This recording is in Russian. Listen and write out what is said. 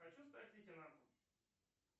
хочу стать лейтенантом